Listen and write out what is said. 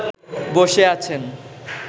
বসে আছেন